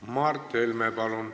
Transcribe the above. Mart Helme, palun!